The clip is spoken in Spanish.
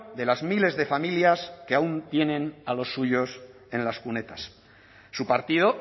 de las miles de familias que aún tienen a los suyos en las cunetas su partido